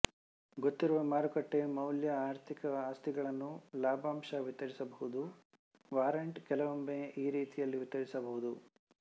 ಗೊತ್ತಿರುವ ಮಾರುಕಟ್ಟೆ ಮೌಲ್ಯ ಆರ್ಥಿಕ ಆಸ್ತಿಗಳನ್ನು ಲಾಭಾಂಶ ವಿತರಿಸಬಹುದುವಾರಂಟ್ ಕೆಲವೊಮ್ಮೆ ಈ ರೀತಿಯಲ್ಲಿ ವಿತರಿಸಬಹುದು